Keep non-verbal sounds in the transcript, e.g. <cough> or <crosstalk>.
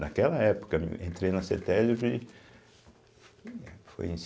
Naquela época, eu entrei na cêtésbe <unintelligible> foi em